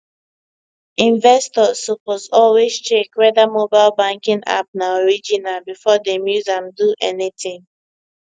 investors suppose always check whether mobile banking app na original before dem use am do anything